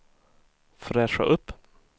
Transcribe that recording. fräscha upp